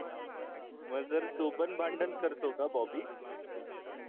मग जर तो पण भांडण करतो का बॉबी